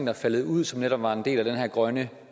er faldet ud som netop var en del af den her grønne